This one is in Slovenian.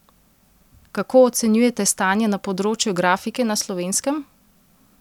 Kako ocenjujete stanje na področju grafike na Slovenskem?